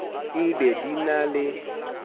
e be di na le